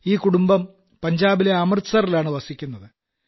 ഈ കുടുംബം പഞ്ചാബിലെ അമൃതസറിലാണ് വസിക്കുന്നത്